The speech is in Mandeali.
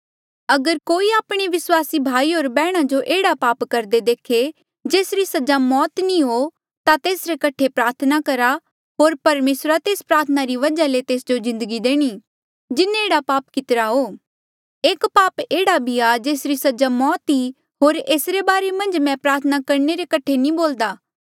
अगर कोई आपणे विस्वासी भाई होर बैहणा जो एह्ड़ा पाप करदे देखे जेसरी सजा मौत नी हो ता तेसरे कठे प्रार्थना करहा होर परमेसरा तेस प्रार्थना री वजह ले तेस जो जिन्दगी देणी जिन्हें एह्ड़ा पाप कितिरा हो एक पाप एह्ड़ा भी आ जेसरी सजा मौत ई होर एसरे बारे मन्झ मै प्रार्थना करणे रे कठे नी बोल्दा